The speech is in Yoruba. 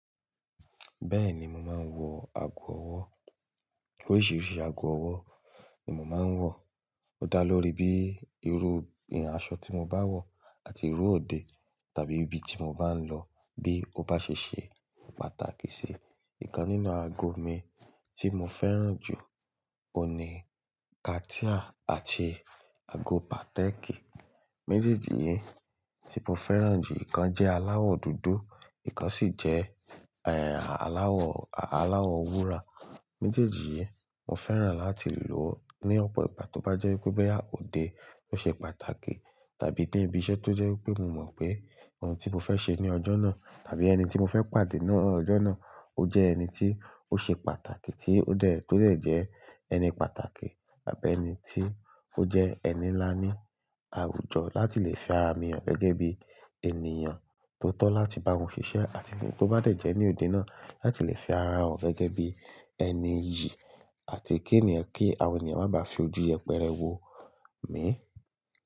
Bẹ́ẹ̀ni, mò má nwọ àgó ọ̀wọ̀. Oríṣiríṣi àgó ọ̀wọ̀ ni mò má nwọ. O dá lóri bí ìrú aṣọ tí mò bá wọ àti ìrú òde tàbí ìbí tí mò bá n lọ bí ó bá ṣe ṣé pàtàkì sì. Ìkán nínú àgó mi tí mò fẹ́ràn jú ohun ní kàtíà àti àgó pátẹ́kí. Mẹ̀jẹ́ejì yí tí mò fẹ́ràn ju, ìkán jẹ́ alàwọ dúdú, ìkán sì jẹ́, ẹ́ẹ́, alàwọ, alàwọ wúrà. Mẹ̀jeẹ́jì yí mò fẹ́ràn làtí lò ní ọ̀pọ ìgbà tó bá jẹ́ wípẹ̀ boya ódé tó ṣe pàtàkì tàbí ní ìbí iṣẹ́ tó jẹ́ wípẹ̀ mò mọ̀ pé ọ̀un tí mò fẹ́ ṣe ní ọjọ́ náà tàbí ẹni tí mò fẹ́ pàdé ní ọjọ́ náà ó jẹ́ ẹni tí ó ṣe pàtàkì tí ó tó dè jẹ́ ẹni pàtàkì tàbí ẹni tí ó jẹ́ ẹni nlá ní àwújọ làtí lè fi ara mì han gẹ́gẹ́ bí ènìyàn tó tọ̀ làtí bá won fiṣẹ́ ati fun, tó bá dẹ̀jẹ́ ní òde náà làtí fi ara han gẹ́gẹ́ bí ẹni iyì àtí kí ènìyàn kí àwọn ènìyàn má bá fi ojú yẹpẹrẹ wo mi.